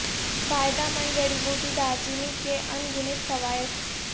فائدہ مند جڑی بوٹی دارچینی کے ان گنت فوائد